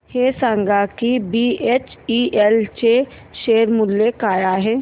हे सांगा की बीएचईएल चे शेअर मूल्य काय आहे